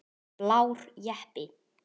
Blár jeppi.